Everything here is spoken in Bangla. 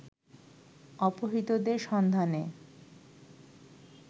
অপহৃতদের সন্ধানে